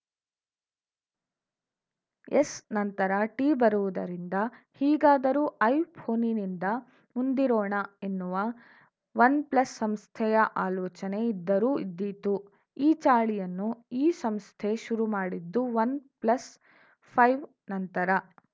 S ನಂತರ T ಬರುವುದರಿಂದ ಹೀಗಾದರೂ ಐ ಫೋನಿನಿಂದ ಮುಂದಿರೋಣ ಎನ್ನುವ ವನ್‌ ಪ್ಲಸ್‌ ಸಂಸ್ಥೆಯ ಆಲೋಚನೆ ಇದ್ದರೂ ಇದ್ದೀತು ಈ ಚಾಳಿಯನ್ನು ಈ ಸಂಸ್ಥೆ ಶುರುಮಾಡಿದ್ದು ವನ್‌ ಪ್ಲಸ್‌ ಫೈವ್‌ ನಂತರ